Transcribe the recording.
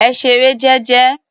Ẹ ṣeré jẹ́jẹ́.